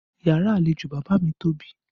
Yàrá àlejò bàbá mi tóbi